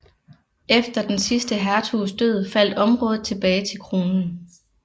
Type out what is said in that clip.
Efter den sidste hertugs død faldt området tilbage til kronen